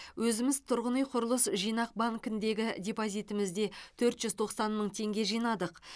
өзіміз тұрғын үй құрылыс жинақ банкіндегі депозитімізде төрт жүз тоқсан мың теңге жинадық